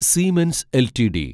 siemens LTD